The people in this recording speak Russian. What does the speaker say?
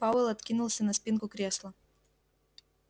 пауэлл откинулся на спинку кресла